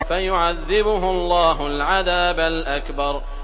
فَيُعَذِّبُهُ اللَّهُ الْعَذَابَ الْأَكْبَرَ